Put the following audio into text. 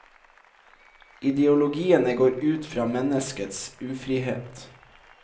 Ideologiene går ut fra menneskets ufrihet.